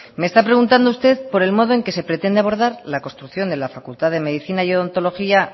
me está preguntando usted por el modo en que se pretende abordar la construcción de la facultad de medicina y odontología